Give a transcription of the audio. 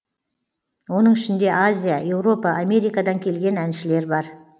оның ішінде азия еуропа америкадан келген әншілер бар